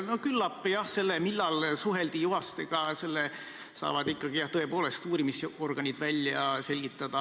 No küllap, jah, selle, millal suheldi Juhastega, saavad tõepoolest välja selgitada ikkagi uurimisorganid.